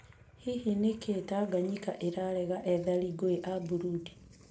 Hihi nĩkĩĩ Tanganyika ĩrarega ethari ngũĩ a Burundi ?